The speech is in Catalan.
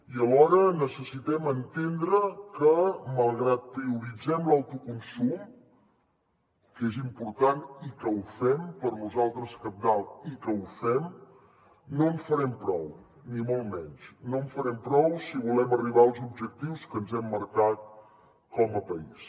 i alhora necessitem entendre que malgrat que prioritzem l’autoconsum que és important i que ho fem per nosaltres cabdal i que ho fem no en farem prou ni molt menys no en farem prou si volem arribar als objectius que ens hem marcat com a país